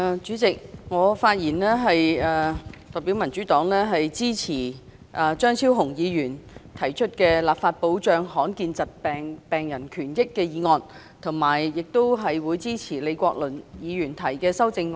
主席，我發言代表民主黨，支持張超雄議員"立法保障罕見疾病的病人權益"的議案，以及支持李國麟議員的修正案。